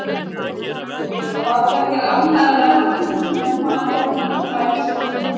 Voru strákarnir ánægðir með að vakna snemma á morgnanna og fara í sund?